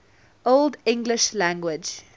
old english language